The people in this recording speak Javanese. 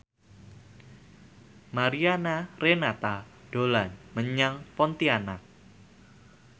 Mariana Renata dolan menyang Pontianak